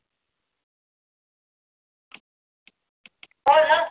हो ना